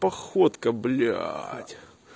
походка блять